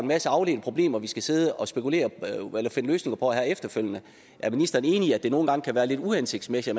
masse afledte problemer vi skal sidde og finde løsninger på efterfølgende er ministeren enig i at det nogle gange kan være lidt uhensigtsmæssigt